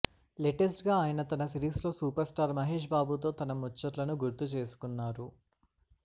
latest గా ఆయన తన సిరీస్ లో సూపర్ స్టార్ మహేష్ బాబుతో తన ముచ్చట్లను గుర్తు చేసుకున్నారు